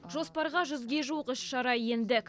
жоспарға жүзге жуық іс шара енді